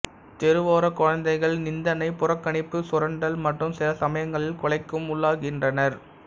தெருவோரக் குழந்தைகள் நிந்தனை புறக்கணிப்பு சுரண்டல் மற்றும் சிலசமயங்களில் கொலைக்கும் உள்ளாகின்றனர்